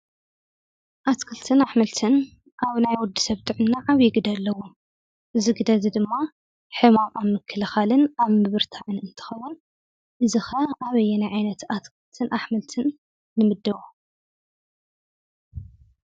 ኣትክልትን ኣሕምልትን ኣብ ናይ ወዲሰብ ጥዕና ዓብይ ግደ ኣለዎ ፡፡ እዚ ግደ እዚ ድማ ሕመቅ ኣብ ምክልካልን ኣብ ምብርታዕ እንትከውን እዚ ከ ኣበየናይ ኣትክልትን ኣሕምልትን ንምድቦ?